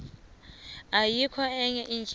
ayikho enye indlela